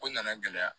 Ko nana n gɛlɛya